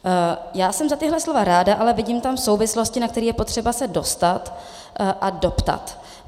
Já jsem za tato slova ráda, ale vidím tam souvislosti, na které je potřeba se dostat a doptat.